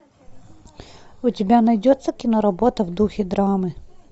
у тебя найдется кино работа в духе драмы